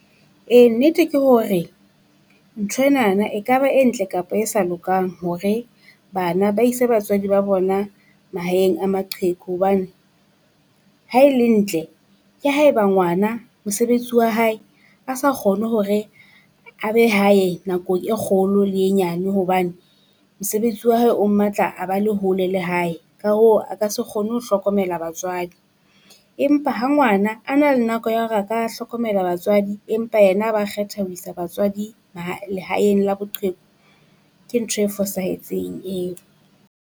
Ee nnete ke hore ntho enana ekaba e ntle kapa e sa lokang hore bana ba ise batswadi ba bona mahaeng a maqheku hobane. Ha e le ntle, ke haeba ngwana mosebetsi wa hae a sa kgone hore a be hae nako e kgolo le e nyane hobane, mosebetsi wa hae o mmatla a ba le hole le hae ka hoo a ka se kgone ho hlokomela batswadi. Empa ha ngwana a na le nako ya hore a ka hlokomela batswadi empa yena a ba kgetha ho isa batswadi lehaeng la boqheku. Ke ntho e fosahetseng eo.